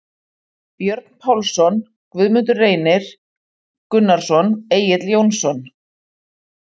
Lykilmenn: Björn Pálsson, Guðmundur Reynir Gunnarsson, Egill Jónsson.